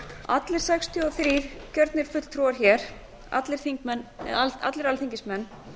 allir sextíu og þrír kjörnir fulltrúar hér allir alþingismenn